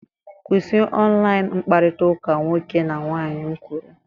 Kwụsị online mkpakọrịta nwoke na nwaanyị m kwuru!